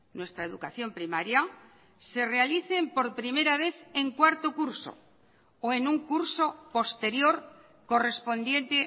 nuestra educación primaria se realicen por primera vez en cuarto curso o en un curso posterior correspondiente